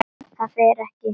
ÞAÐ FER EKKI